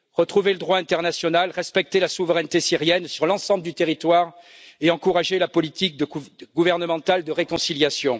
Retrouver le droit international, respecter la souveraineté syrienne sur l'ensemble du territoire et encourager la politique gouvernementale de réconciliation?